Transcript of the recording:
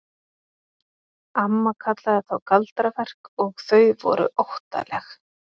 Amma kallaði þá galdraverk og þau voru óttaleg.